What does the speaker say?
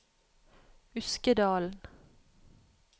Uskedalen